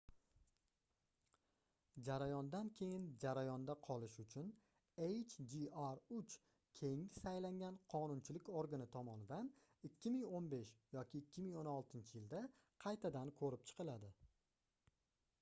jarayondan keyin jarayonda qolishi uchun hjr-3 keyingi saylangan qonunchilik organi tomonidan 2015 yoki 2016-yilda qaytadan koʻrib chiqiladi